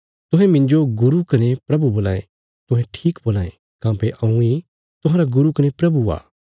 तुहें मिन्जो गुरू कने प्रभु बोलां यें तुहें ठीक बोलां यें काँह्भई हऊँ इ तुहांरा गुरू कने प्रभु आ